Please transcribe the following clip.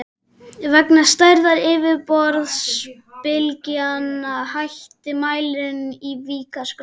Vegna stærðar yfirborðsbylgnanna hætti mælirinn í Vík að skrá.